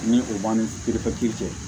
Ni o man ni cɛ